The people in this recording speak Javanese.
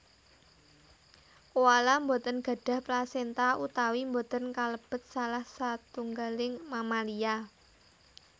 Koala boten gadhah plasenta utawi boten kalebet salah setunggaling mamalia